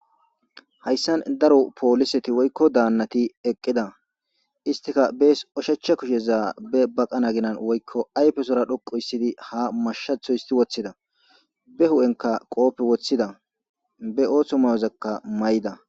hayssan daro pooliseti woykko daannati eqqida istika bees oshecha kusheza be baqana ginan woykko ayfesora dhoqo hissidi ha mashatho histi woththida be hu7enka qoope woththida be ooththo mayozakka mayida